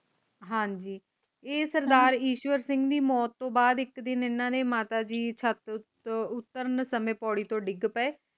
ਹਾਂਜੀ ਇਹ ਸਰਦਾਰ ਈਸ਼ਵਰ ਸਿੰਘ ਦੀ ਮੌਤ ਤੋਂ ਬਾਦ ਇਕ ਦਿਨ ਏਨਾ ਨੇ ਮਾਤਾ ਜੀ ਛੱਤ ਤੋਂ ਉਤਰਨ ਸਮੇਂ ਪੋੜੀ ਤੋਂ ਡਿਗ ਪਏ